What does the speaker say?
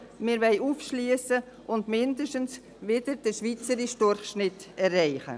Wir wollen aufschliessen und mindestens wieder den schweizerischen Durchschnitt erreichen.